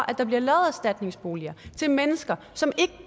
at der bliver lavet erstatningsboliger til mennesker som ikke